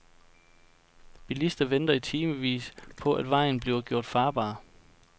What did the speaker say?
Bilister venter i timevis på at vejen bliver gjort farbar.